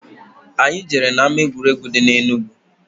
Anyị jere na-ama egwuregwu dị na Enugu.